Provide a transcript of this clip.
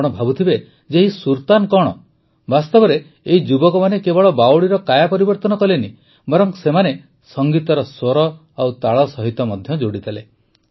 ଆପଣ ଭାବୁଥିବେ ଯେ ଏହି ସୁର୍ତାନ୍ କଣ ବାସ୍ତବରେ ଏହି ଯୁବକମାନେ କେବଳ ବାୱଡ଼ିର କାୟା ପରିବର୍ତନ କଲେ ନାହିଁ ବରଂ ସେମାନେ ସଂଗୀତର ସ୍ୱର ଓ ତାଳ ସହିତ ମଧ୍ୟ ଯୋଡ଼ିଦେଲେ